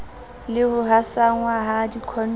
le ho hasanngwa ha dikhondomo